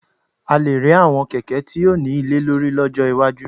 A lè rí àwọn kẹ̀kẹ́ tí yóò ní ilé lórí lọ́jọ́ iwájú